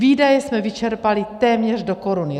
Výdaje jsme vyčerpali téměř do koruny.